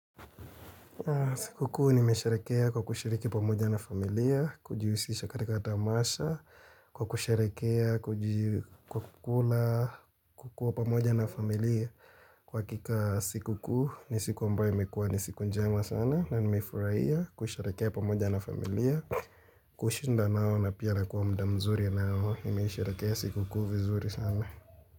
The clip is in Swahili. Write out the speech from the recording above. Sikukuu nimesharekea kwa kushiriki pamoja na familia, kujihusisha katika tamasha, kwa kusharekea, kuji kukula, kukuwa pamoja na familia, kwa hakika sikukuu, nisiku ambayo imekuwa ni siku njema sana, na nimefurahia kusherekea pamoja na familia, kushinda nao na pia nakuwa mda mzuri nao, nimesherekea sikukuu vizuri sana.